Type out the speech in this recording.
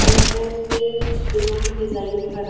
entrance पे कुछ दिलों की डिजाइन भी बना --